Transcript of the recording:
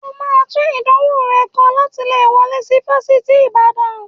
O máa tún ìdánwò rẹ kọ láti lè wọlé sí Fásitì Ìbàdàn